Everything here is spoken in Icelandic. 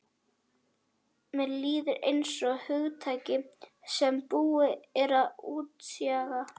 Mér líður einsog hugtaki sem búið er að útjaska.